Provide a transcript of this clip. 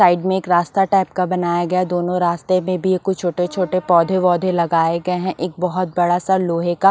side में एक रास्ता टाइप का बनाया गया है दोनों रास्ते में भी कुछ छोटे-छोटे पौधे-वौधे लगाए गए हैं एक बहुत बड़ा सा लोहे का--